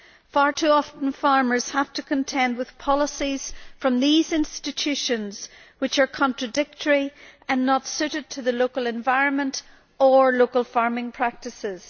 Far too often farmers have to contend with policies from these institutions which are contradictory and not suited to the local environment or local farming practices.